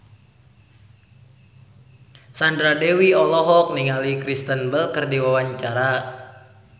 Sandra Dewi olohok ningali Kristen Bell keur diwawancara